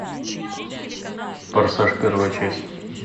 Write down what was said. форсаж первая часть